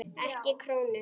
Ekki krónu.